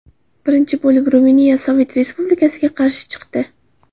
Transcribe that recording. Birinchi bo‘lib Ruminiya Sovet Rossiyasiga qarshi chiqdi.